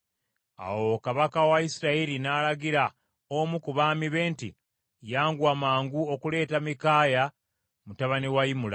Awo kabaka wa Isirayiri n’alagira omu ku baami be nti, “Yanguwa mangu okuleeta Mikaaya mutabani wa Imula.”